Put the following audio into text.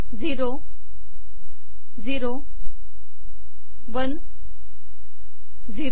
zero zero one zero